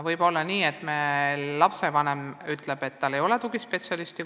Võib olla mõni lapsevanem ütleb, et tema lapse koolis ei ole tugispetsialisti.